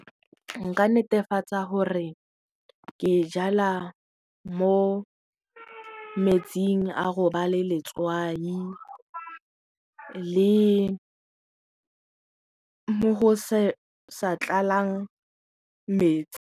Nka netefatsa gore ke jala mo metsing a go ba le letswai le mo go sa tlalang metsi.